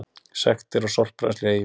Sektir á sorpbrennslu í Eyjum